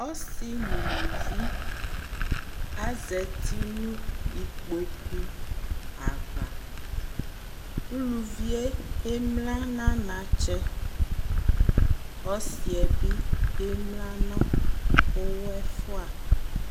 Ɔsɩ nʋ uluvi azati nʋ ikpoku ava Uluvi yɛ emlǝ nʋ anatsɛ Ɔsɩ yɛ bɩ emlǝ nʋ ʋɣɔ ɛfʋa